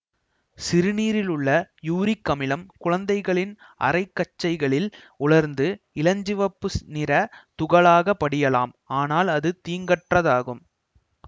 சிறுநீரில் உள்ள யூரிக் அமிலம் குழந்தைகளின் அரைக்கச்சைகளில் உலர்ந்து இளஞ்சிவப்பு நிற துகளாகப் படியலாம் ஆனால் அது தீங்கற்றதாகும்